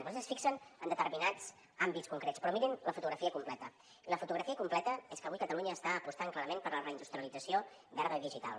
vostès es fixen en determinats àmbits concrets però mirin la fotografia completa i la fotografia completa és que avui catalunya està apostant clarament per la reindustrialització verda i digital